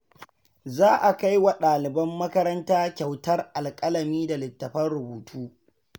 Za a kai wa daliban makaranta kyautar alƙalami da littattafan rubutu.